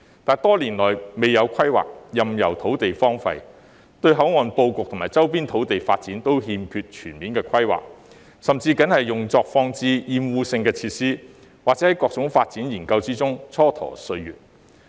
但是，多年來未有規劃，任由土地荒廢，對口岸布局及周邊土地發展均欠缺全面規劃，甚至僅用作放置壓惡性的設施，或在各種發展研究中蹉跎歲月。